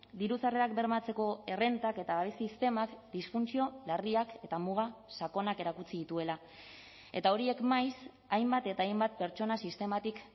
diru sarrerak bermatzeko errentak eta babes sistemak disfuntzio larriak eta muga sakonak erakutsi dituela eta horiek maiz hainbat eta hainbat pertsona sistematik